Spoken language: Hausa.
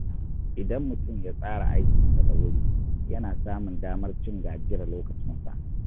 Idan mutum ya tsara aikinsa da wuri, yana samun damar cin gajiyar lokacinsa.